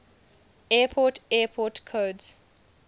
airport airport codes